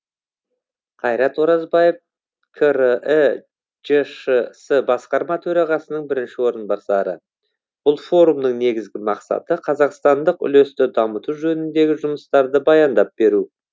қайрат оразбаев крі жшс басқарма төрағасының бірінші орынбасары бұл форумның негізгі мақсаты қазақстандық үлесті дамыту жөніндегі жұмыстарды баяндап беру